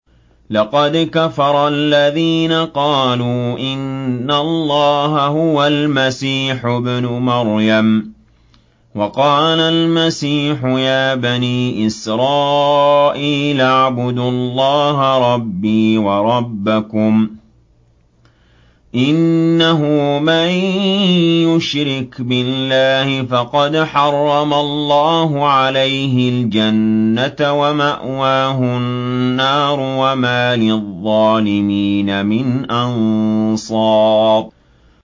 لَقَدْ كَفَرَ الَّذِينَ قَالُوا إِنَّ اللَّهَ هُوَ الْمَسِيحُ ابْنُ مَرْيَمَ ۖ وَقَالَ الْمَسِيحُ يَا بَنِي إِسْرَائِيلَ اعْبُدُوا اللَّهَ رَبِّي وَرَبَّكُمْ ۖ إِنَّهُ مَن يُشْرِكْ بِاللَّهِ فَقَدْ حَرَّمَ اللَّهُ عَلَيْهِ الْجَنَّةَ وَمَأْوَاهُ النَّارُ ۖ وَمَا لِلظَّالِمِينَ مِنْ أَنصَارٍ